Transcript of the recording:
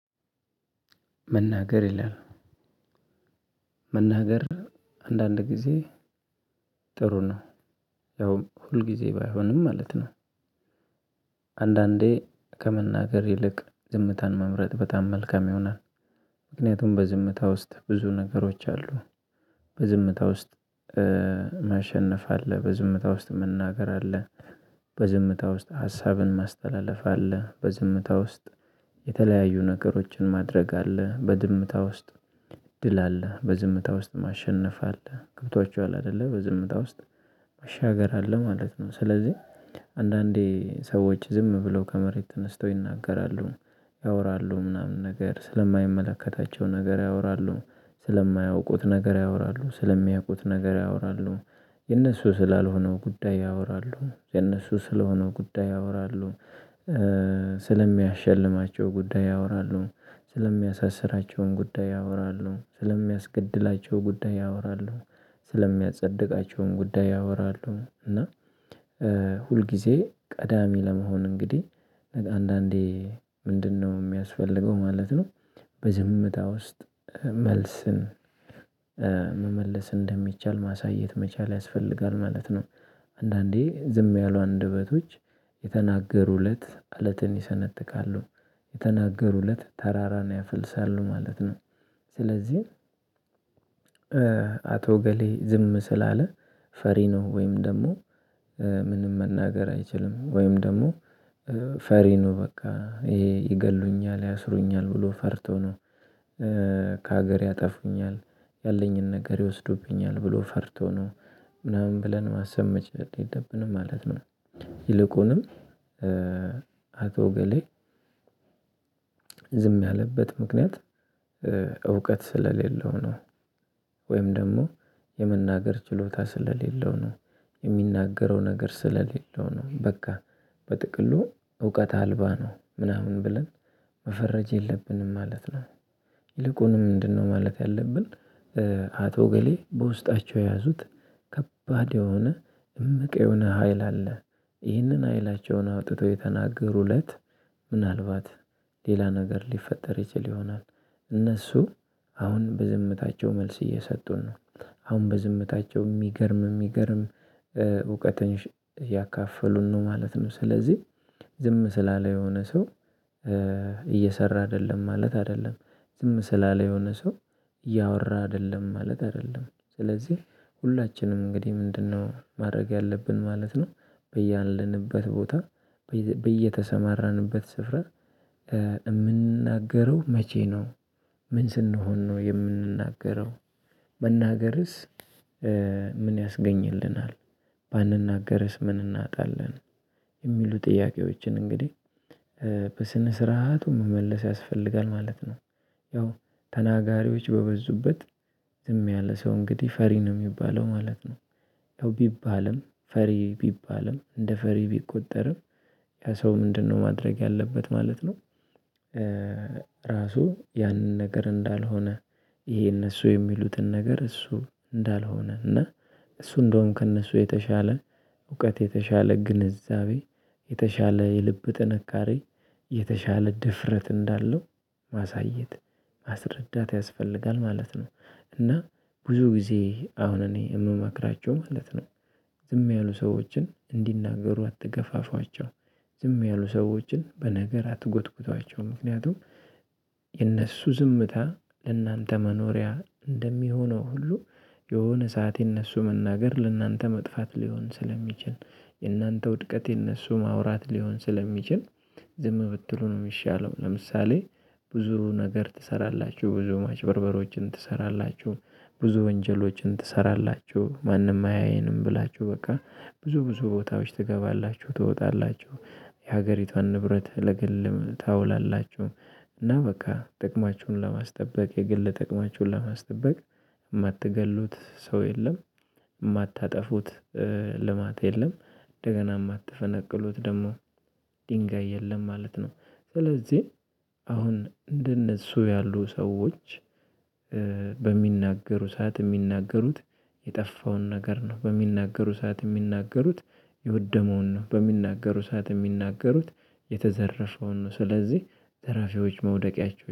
መናገር ይላል። መናገር አንዳንድ ጊዜ ጥሩ ነው ያውም ሁል ጊዜ ባይሆንም ማለት ነው። አንዳንዴ ከመናገር ይልቅ ዝምታን መምረጥ በጣም መልካም ይሆናል። ምክንያቱም በዝምታ ውስጥ ብዙ ነገሮች አሉ። በዝምታ ውስጥ ማሸነፍ አለ በዝምታ ውስጥ መናገር አለ በዝምታ ውስጥ ሀሳብን ማስተላለፍ አለ በዝምታ ውስጥ የተለያዩ ነገሮችን ማድረግ አለ በዝምታ ውስጥ ድል አለ። በዝምታ ውስጥ ማሸነፍ አለ ገብቷቸዋል አይደለ በዝምታ ውስጥ መሻገር አለ ማለት ነው። ስለዚህ አንዳንዴ ሰዎች ዝም ብለው ከመሬት ተነስተው ይናገራሉ ያወራሉ ምናምን ነገር ስለማይመለከታቸው ነገር ያወራሉ ስለማያውቁት ነገር ያወራሉ ስለሚያውቁት ነገር ያወራሉ የነሱ ስላልሆነው ጉዳይ ያወራሉ የነሱ ስለሆነው ጉዳይ ያወራሉ። ስለሚያሸልማቸው ጉዳይ ያወራሉ ስለሚያሳስራቸውም ጉዳይ ያወራሉ ስለሚያስገድላቸው ጉዳይ ያወራሉ ስለሚያጸድቃቸውም ጉዳይ ያወራሉ። እና ሁልጊዜ ቀዳሚ ለመሆን እንግዲህ አንዳንዴ ምንድነው የሚያስፈልገው ማለት ነው። በዝምታ ውስጥ መልስን መመለስ እንደሚቻል ማሳየት መቻል ያስፈልጋል ማለት ነው። አንዳንዴ ዝም ያሉ አንደበቶች የተናገሩለት አለትን ይሰነጥቃሉ የተናገሩለት ተራራን ያፈልሳሉ ማለት ነው። ስለዚህ አቶ እገሌ ዝም ስላለ ፈሪ ነው ወይም ደግሞ ምንም መናገር አይችልም ወይም ደግሞ ፈሪ ነው በቃ ይገድሉኛል ያስሩኛል ብሎ ፈርቶ ነው ከሀገር ያጠፉኛል ያለኝን ነገር ይወስዱብኛል ብሎ ፈርቶ ነው ምናምን ብለን ማሰብ መቻል የለብንም ማለት ነው። ይልቁንም አቶ እገሌ ዝም ያለበት ምክንያት እውቀት ስለሌለው ነው። ወይም ደግሞ የመናገር ችሎታ ስለሌለው ነው የሚናገረው ነገር ስለሌለው ነው። በቃ በጥቅሉ እውቀት አልባ ነው ምናምን ብለን መፈረጅ የለብንም ማለት ነው። ይልቁንም ምንድነው? ማለት ያለብን አቶ እገሌ በውስጣቸው የያዙት ከባድ የሆነ እምቅ የሆነ ሀይል አለ። ይህንን ኃይላቸውን አውጥተው የተናገሩ እለት ምናልባት ሌላ ነገር ሊፈጠር ይችል ይሆናል። እነሱ አሁን በዝምታቸው መልስ እየሰጡን ነው። አሁን በዝምታቸው የሚገርም እሚገርም እውቀትን ያካፈሉን ነው ማለት ነው። ስለዚህ ዝም ስላለ የሆነ ሰው እየሰራ አይደለም ማለት አይደለም። ዝም ስላለ የሆነ ሰው እያወራ አይደለም ማለት አይደለም። ስለዚህ ሁላችንም እንግዲህ ምንድነው? ማድረግ ያለብን ማለት ነው። በያለንበት ቦታ በየተሰማራንበት ስፍራ የምንናገረው መቼ ነው? ምን ስንሆን ነው የምንናገረው? መናገርስ ምን ያስገኝልናል? ባንናገርስ ምን እናጣለን? የሚሉ ጥያቄዎችን እንግዲህ በስነ ስርዓቱ መመለስ ያስፈልጋል ማለት ነው። ያው ተናጋሪዎች በበዙበት ዝም ያለ ሰው እንግዲህ ፈሪ ነው የሚባለው ማለት ነው። ቢባልም ፈሪ ቢባልም እንደ ፈሪ ቢቆጠርም ያ ሰው ምንድነው? ማድረግ ያለበት ማለት ነው። ራሱ ያንን ነገር እንዳልሆነ ይሄ እነሱ የሚሉትን ነገር እሱ እንዳልሆነ እና እሱ እንደውም ከእነሱ የተሻለ እውቀት የተሻለ ግንዛቤ የተሻለ የልብ ጥንካሬ የተሻለ ድፍረት እንዳለው ማሳየት ማስረዳት ያስፈልጋል ማለት ነው። እና ብዙ ጊዜ አሁን እኔ የምመክራቸው ማለት ነው። ዝም ያሉ ሰዎችን እንዲናገሩ አትገፋፏቸው። ዝም ያሉ ሰዎችን በነገር አትጎትጉቷቸው ምክንያቱም የእነሱ ዝምታ ለእናንተ መኖሪያ እንደሚሆነው ሁሉ የሆነ ሰዓት የእነሱ መናገር ለእናንተ መጥፋት ሊሆን ስለሚችል የእናንተ ውድቀት የነሱ ማውራት ሊሆን ስለሚችል ዝም ብትሉ ነው የሚሻለው። ለምሳሌ ብዙ ነገር ትሰራላችሁ ብዙ ማጭበርበሮችን ትሰራላችሁ ብዙ ወንጀሎችን ትሰራላችሁ ማንም አያየንም ብላችሁ በቃ ብዙ ብዙ ቦታዎች ትገባላችሁ ትወጣላችሁ የሀገሪቷን ንብረት ለግል ታውላላችሁ። እና በቃ ጥቅማችሁን ለማስጠበቅ የግል ጥቅማችሁን ለማስጠበቅ የማትገድሉት ሰው የለም። የማታጠፉት ልማት የለም እንደገና የማታፈነቅሉት ደግሞ ድንጋይ የለም ማለት ነው። ስለዚህ አሁን እንደነሱ ያሉ ሰዎች በሚናገሩ ሰዓት የሚናገሩት የጠፋውን ነገር ነው። በሚናገሩ ሰዓት የሚናገሩት የወደመውን ነው። በሚናገሩ ሰዓት የሚናገሩት የተዘረፈውን ነው። ስለዚህ ዘራፊዎች መውደቂያቸው